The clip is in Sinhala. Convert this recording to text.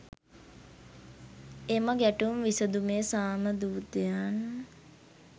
එම ගැටුම් විසඳුමේ සාම දූතයන්